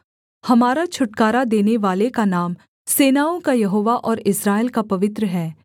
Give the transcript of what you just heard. हमारा छुटकारा देनेवाले का नाम सेनाओं का यहोवा और इस्राएल का पवित्र है